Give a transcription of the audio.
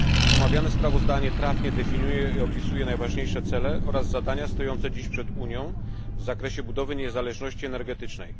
Omawiane sprawozdanie trafnie definiuje i opisuje najważniejsze cele oraz zadania stojące dziś przed Unią w zakresie budowy niezależności energetycznej.